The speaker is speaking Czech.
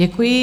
Děkuji.